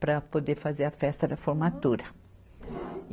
para poder fazer a festa da formatura. e